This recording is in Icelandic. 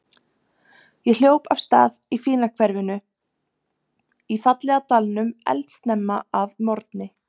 Ég hljóp af stað í fína hverfinu í fallega dalnum eldsnemma að morgni.